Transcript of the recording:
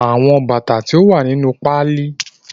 The lace was sent from the United States